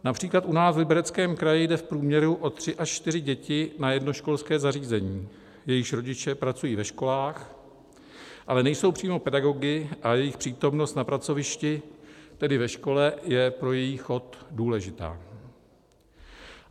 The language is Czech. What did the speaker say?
Například u nás v Libereckém kraji jde v průměru o tři až čtyři děti na jedno školské zařízení, jejichž rodiče pracují ve školách, ale nejsou přímo pedagogy a jejich přítomnost na pracovišti, tedy ve škole, je pro její chod důležitá.